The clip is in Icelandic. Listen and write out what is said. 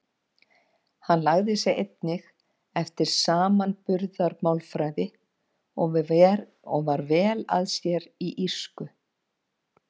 Hann lagði sig einnig eftir samanburðarmálfræði og var vel að sér í írsku.